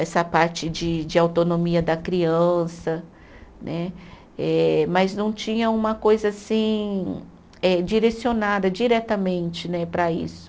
Essa parte de de autonomia da criança né, eh mas não tinha uma coisa assim eh, direcionada diretamente né para isso.